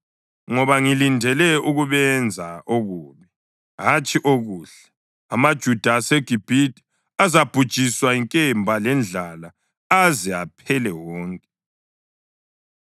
Ngoba ngilindele ukubenza okubi, hatshi okuhle. AmaJuda aseGibhithe azabhujiswa yinkemba lendlala aze aphele wonke.